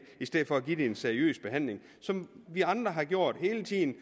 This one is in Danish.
i stedet for at give det en seriøs behandling som vi andre har gjort hele tiden